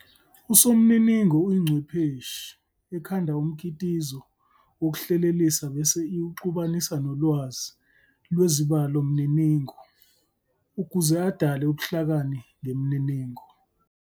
uSomniningo uyingcwepheshi ekhanda umkitizo wokuhlelelisa bese iwuxubanisa nolwazi lwezibalomniningo ukuze adale ubuhlakani ngemininingo.